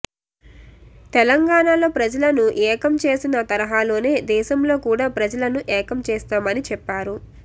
తెలంగాణలో ప్రజలను ఏకం చేసిన తరహలోనే దేశంలో కూడ ప్రజలను ఏకం చేస్తామని చెప్పారు